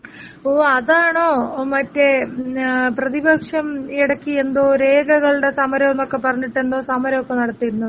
ഓ അതാണോ മറ്റെ ഏ പ്രതിപക്ഷം എടക്ക് എന്തോ രേഖകളുടെ സമരോന്നൊക്കെ പറഞ്ഞിട്ട് എന്തോ സമരോക്കെ നടത്തിയിരുന്നത്.